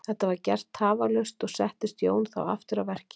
Þetta var gert tafarlaust og settist Jón þá aftur að verki.